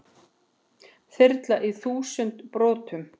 Þyrla í þúsund brotum